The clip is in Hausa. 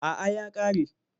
A’a ya ƙare.